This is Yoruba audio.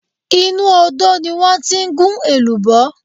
Inú Odò ni wọ́n ti ń gún èlùbọ́